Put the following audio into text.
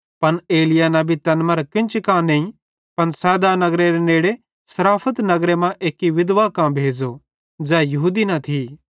पन एलिय्याह नबी तैन मरां केन्ची कां नईं पन सैदारे नगरेरे नेड़े सारफत नगर मां एक्की विधवा कां भेज़ो ज़ै यहूदी न थी